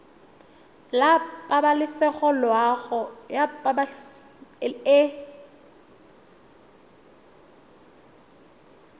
la pabalesego le loago e